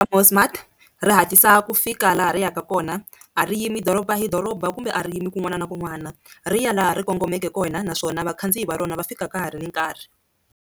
Mosmat ri hatlisa ku fika laha ri yaka kona a ri yimi doroba hi doroba kumbe a ri yimi kun'wana na kun'wana ri ya laha ri kongomeke kona naswona vakhandziyi va rona va fika ka ha ri nkarhi.